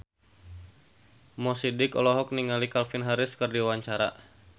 Mo Sidik olohok ningali Calvin Harris keur diwawancara